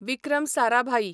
Vikram Sarabhai